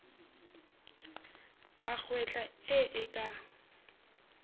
a kgwehla e e ka